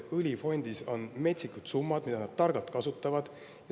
Õlifondis on metsikud summad, mida nad targalt kasutavad.